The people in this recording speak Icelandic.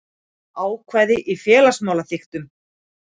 Ákvæði í félagssamþykktum.